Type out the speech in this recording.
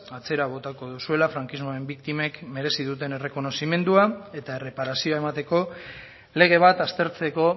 atzera botako duzuela frankismoaren biktimen merezi duten errekonozimendua eta erreparazioa emateko lege bat aztertzeko